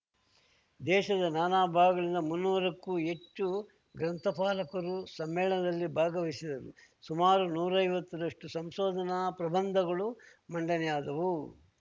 ದೇಶದ ನಾನಾ ಭಾಗಗಳಿಂದ ಮುನ್ನೂರಕ್ಕೂ ಹೆಚ್ಚು ಗ್ರಂಥಪಾಲಕರು ಸಮ್ಮೇಳನದಲ್ಲಿ ಭಾಗವಹಿಸಿದರು ಸುಮಾರು ನೂರೈವತ್ತರಷ್ಟು ಸಂಶೋಧನಾ ಪ್ರಬಂಧಗಳು ಮಂಡನೆಯಾದವು